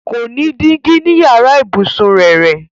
Kò ní dígí ní yàrá ìbùsùn rẹrẹ.